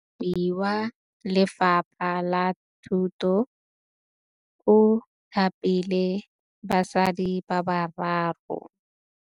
Mothapi wa Lefapha la Thutô o thapile basadi ba ba raro.